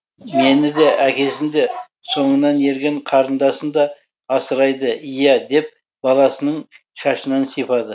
мені де әкесін де соңынан ерген қарындасын да асырайды иә деп баласының шашынан сипады